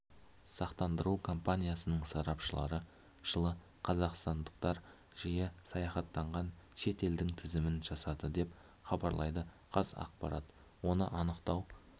сақтандыру компаниясының сарапшылары жылы қазақстандықтар жиі саяхаттаған шет елдің тізімін жасады деп хабарлайды қазақпарат оны анықтау